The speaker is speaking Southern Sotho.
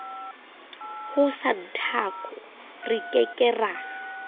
ho santaco re ke ke